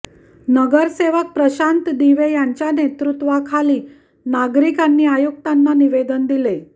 नगरसेवक प्रशांत दिवे यांच्या नेतृत्वाखाली नागरिकांनी आयुक्तांना निवेदन दिले